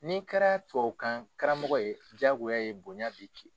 Ni kɛra tubabukan karamɔgɔ ye jyagoya ye bonya bi ki